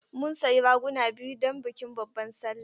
Mun sayi raguna biyu don bikin babban sallah.